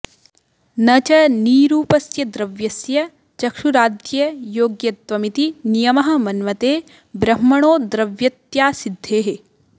न च नीरूपस्य द्रव्यस्य चक्षुराद्ययोग्यत्वमिति नियमः मन्मते ब्रह्मणो द्रव्यत्यासिद्धेः